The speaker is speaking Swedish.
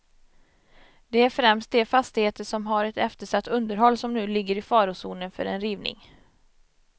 Det är främst de fastigheter som har ett eftersatt underhåll, som nu ligger i farozonen för en rivning.